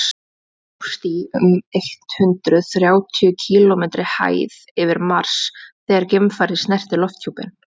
það hófst í um eitt hundruð þrjátíu kílómetri hæð yfir mars þegar geimfarið snerti lofthjúpinn